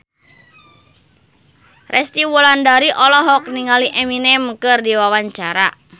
Resty Wulandari olohok ningali Eminem keur diwawancara